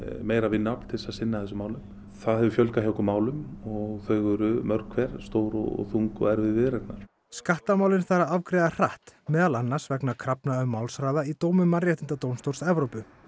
meira vinnuafl til að sinna þessum málum það hefur fjölgað hjá okkur málum og þau eru mörg hver stór þung og erfið viðureignar skattamálin þarf að afgreiða mjög hratt meðal annars vegna krafna um málshraða í dómum Mannréttindadómstóls Evrópu